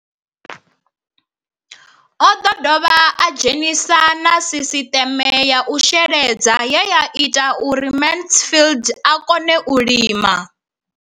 O ḓo dovha a dzhenisa na sisiṱeme ya u sheledza ye ya ita uri Mansfied a kone u lima.